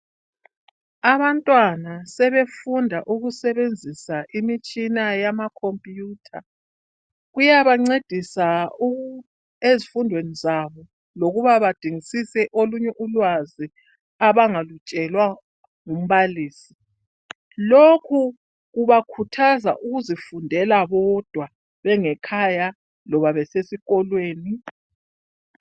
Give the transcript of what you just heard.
abantwana sebefunda ukusebenzisa imitshina yama computer kuyabancedisa ezifundweni zabo lokuba badingisise olunye ulwazi abangalutshelwa ngumbalisi lokhu kubakhuthaza ukuzifundela bodwa bengekhaya loba besesikolweni